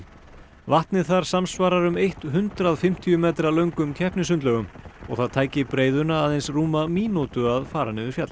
vatnið þar samsvarar um eitt hundrað fimmtíu metra löngum og það tæki breiðuna aðeins rúma mínútu að fara niður fjallið